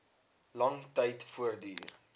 lang tyd voortduur